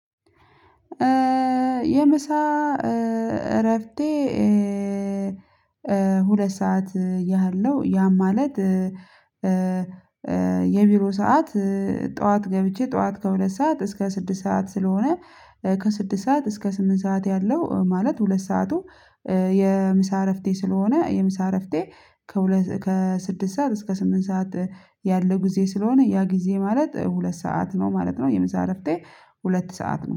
የምሳ እረፍቴ ሁለት ሰዓት ያህል ነው። ያ ማለት የቢሮ ሰዓት ጠዋት ገብቼ ጠዋት ከሁለት ሰዓት እስከ ስድስት ሰዓት ስለሆነ። ከስድስት ሰዓት እስከ ስምንት ሰዓት ያለው ማለት ሁለት ሰዓቱ። የምሳ እረፍቴ ስለሆነ የምሳ እረፍቴ ከሁለት ከስድስት ሰዓት እስከ ስምንት ሰዓት። ያለው ጊዜ ስለሆነ ያ ጊዜ ማለት ሁለት ሰዓት ነው ማለት ነው። የምሳ እረፍቴ ሁለት ሰዓት ነው